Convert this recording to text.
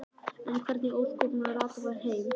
En hvernig í ósköpunum rata þær heim?